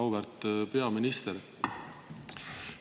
Auväärt peaminister!